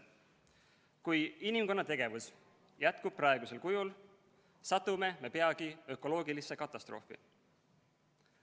Kui inimkonna tegevus jätkub praegusel kujul, satume me peagi ökoloogilisse katastroofi.